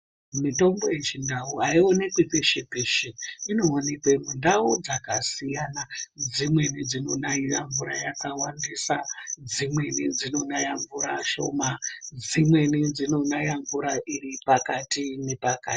Mitombo yechindau haionekwi peshe-peshe inoonekwa mundau dzakasiyana. Dzimweni dzinonaira mvura yakawandisa. Dzimweni dzinonaya mvura shoma, dzimweni dzinonaya mvura iri pakati nepakati.